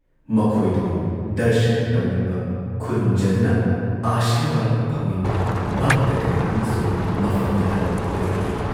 ꯃꯈꯣꯏꯗꯨꯕꯨ ꯗꯔꯁꯟ ꯇꯧꯅꯤꯡꯕ, ꯈꯨꯔꯨꯝꯖꯗꯨꯅ ꯑꯥꯁꯤꯔꯕꯥꯗ ꯐꯪꯅꯤꯡꯕ ꯚꯛꯇ ꯀꯌꯥ ꯑꯃꯁꯨ ꯃꯐꯝꯗꯨꯗ ꯌꯧꯔꯛꯏ ꯫